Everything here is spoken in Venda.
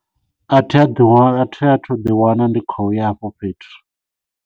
A thi athu ḓiwana ndi khou ya hafho fhethu.